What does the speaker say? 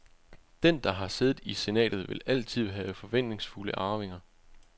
Den, der har siddet i senatet, vil altid have forventningsfulde arvinger.